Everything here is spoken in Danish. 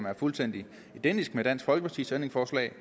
er fuldstændig identisk med dansk folkepartis ændringsforslag